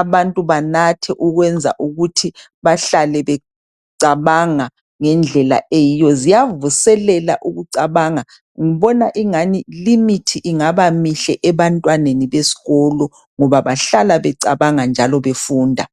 abantu banathe okwenza ukuthi behlale becabanga ngendlela eyiyo, ziyavuselela ukucabanga ngibona engani limithi ingaba mihle ebantwaneni besikolo ngoba bahlala becabanga njalo befunda.